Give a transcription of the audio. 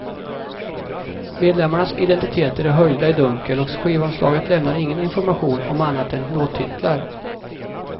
Medlemmarnas identiteter är höljda i dunkel och skivomslaget lämnar ingen information om annat än låttitlar.